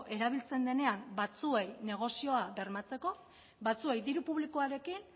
erabiltzen denean batzuei negozioa bermatzeko batzuei diru publikoarekin